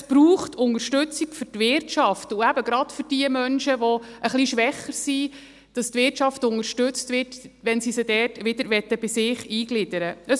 Es braucht Unterstützung für die Wirtschaft und eben gerade für die Menschen, die etwas schwächer sind, dass die Wirtschaft unterstützt wird, wenn sie diese wieder bei sich integrieren möchten.